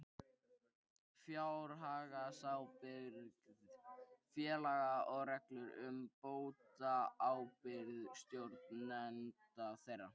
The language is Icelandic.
Fjárhagsábyrgð félaga og reglur um bótaábyrgð stjórnenda þeirra.